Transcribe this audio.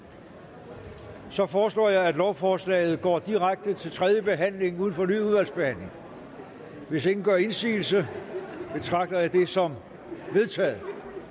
så foreslår jeg at lovforslaget går direkte til tredje behandling uden fornyet udvalgsbehandling hvis ingen gør indsigelse betragter jeg det som vedtaget